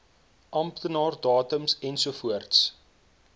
amptenaar datums ensovoorts